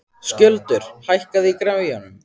Skjöldur, hækkaðu í græjunum.